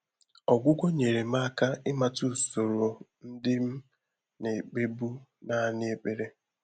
Ọ́gwụ́gwọ́ nyèrè m áká ị́màtà ùsòrò ndị́ m nà-ékpébu nāànị́ ékpèré.